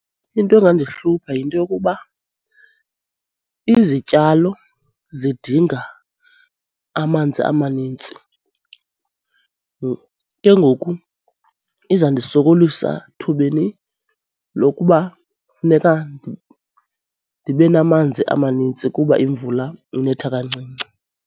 Into engandihlupha yinto yokuba izityalo zidinga amanzi amanintsi, ke ngoku izandisokolisa thubeni lokuba funeka ndibe namanzi amanintsi kuba imvula inetha kancinci.